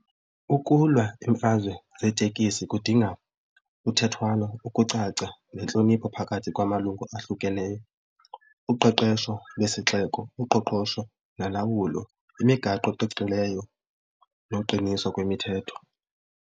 Ukulwa imfazwe zeetekisi kudinga uthethwano, ukucaca nentlonipho phakathi kwamalungu ahlukeneyo, uqeqesho lesixeko, uqoqosho nolawulo, imigaqo eqiqileyo noqiniso kwemithetho.